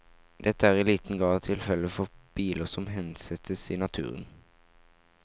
Dette er i liten grad tilfelle for biler som hensettes i naturen.